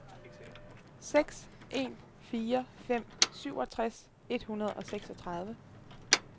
seks en fire fem syvogtres et hundrede og seksogtredive